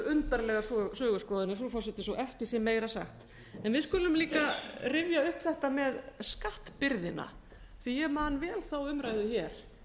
undarlegar söguskoðanir frú forseti svo ekki sé meira sagt við skulum líka rifja upp þetta með skattbyrðina því að ég man vel þá umræðu hér